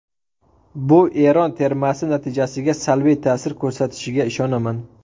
Bu Eron termasi natijasiga salbiy ta’sir ko‘rsatishiga ishonaman.